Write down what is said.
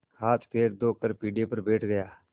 हाथपैर धोकर पीढ़े पर बैठ गया